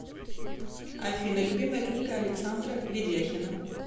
афина любимая книга александра ведяхина